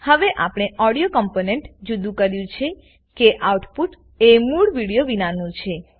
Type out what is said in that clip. હવે આપણે audio component જુદું કર્યું છે કે આઉટપુટ એ મૂળ વિડીઓ વિનાનું છે